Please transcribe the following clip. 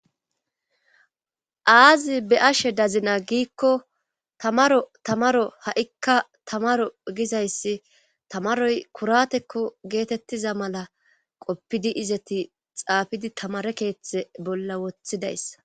aazi be ashe dazina giikko tamarotamaro ha7ikka tamaro gizayssi tamaroy kuratekko geetettiza mala qoppidi izeti xaafidi tamare keeththe bolla wothidayssa